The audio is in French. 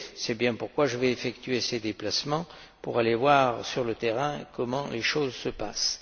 C'est bien pourquoi je vais effectuer ces déplacements pour aller voir sur le terrain comment les choses se passent.